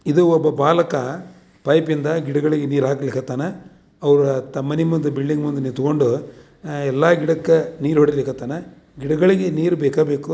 ಇದು ಒಬ್ಬ ಬಾಲಕ ಪೈಪ್ ಇಂದ ಗಿಡ ಗಳಿಗೆ ನೀರ್ ಹಾಕ್ಲಿಕತನ. ಅವರ ತಮ್ ಮನೆ ಮುಂದೆ ಬಿಲ್ಡಿಂಗ್ ಮುಂದೆ ನಿಂತ್ಕೊಂಡು ಎಲ್ಲಾ ಗಿಡಕ್ಕೆ ನೀಲ್ ಹೊಡಲೀಕ್ ಕತ್ತನ್ ಗಿಡಗಳಿಗೆ ನೀರು ಬೇಕೆ ಬೇಕು.